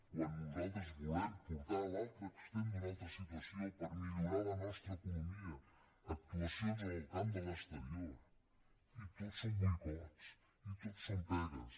quan nosaltres volem portar a l’altre extrem d’una altra situació per millorar la nostra economia actuacions en el camp de l’exterior i tots són boicots i tots són pegues